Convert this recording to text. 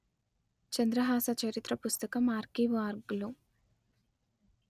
చంద్రహాస చరిత్ర పుస్తకం ఆర్కీవ్ఆర్గ్ లో